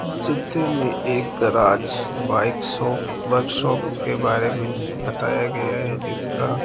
इस चित्र में एक garage bike shop workshop के बारे में बताया गया है जिसका --